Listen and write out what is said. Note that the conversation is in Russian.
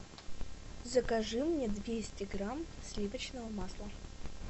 закажи мне двести грамм сливочного масла